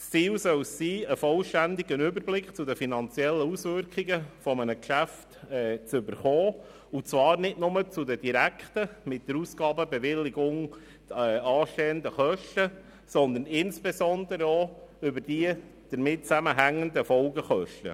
Das Ziel soll darin bestehen, einen vollständigen Überblick über die finanziellen Auswirkungen eines Geschäfts zu erhalten, und zwar nicht nur über die direkten, nach der Ausgabenbewilligung anstehenden Kosten, sondern insbesondere auch über die damit zusammenhängenden Folgekosten.